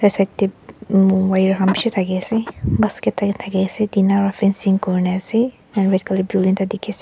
side tae wire khan bishi thakiase basket tatae thakiase tina pra fencing kurina ase and red colour building ekta dikhiase.